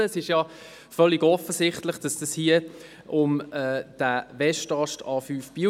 Denn es ist ja völlig offensichtlich, dass es hier um den Westast-A5 Biel geht.